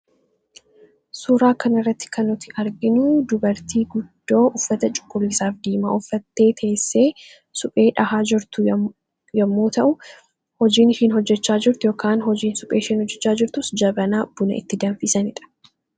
Suuraa kana irratti kan nuti arginu dubartii guddoo uffata Cuquliisaafi Diimaa uffattee teessee suphee dhahaa jirtu yemmuu ta'u; Hojiin ishiin hojjechaa jirtu yookiin hojiin suphee ishiin hojjechaa jirtus jabanaa buna itti danfisaniidha.